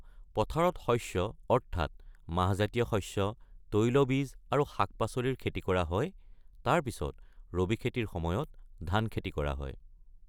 পথাৰত শস্য অৰ্থাৎ মাহজাতীয় শস্য, তৈলবীজ আৰু শাক-পাচলিৰ খেতি কৰা হয়, তাৰ পিছত ৰবিখেতিৰ সময়ত ধান খেতি কৰা হয়।